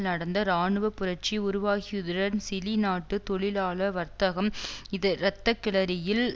நடந்த இராணுவப்புரட்சி உருவாகியதுடன் சிலி நாட்டு தொழிலாள வர்த்தகம் இது இரத்தக்களறியில்